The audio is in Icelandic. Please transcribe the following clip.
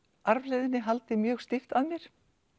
arfleifðinni haldið mjög stíft að mér